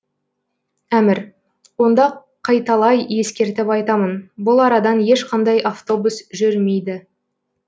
әмір онда қайталай ескертіп айтамын бұл арадан ешқандай автобус жүрмейді